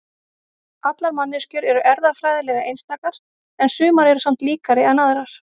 allar manneskjur eru erfðafræðilega einstakar en sumar eru samt líkari en aðrar